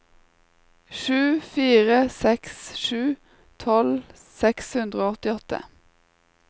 sju fire seks sju tolv seks hundre og åttiåtte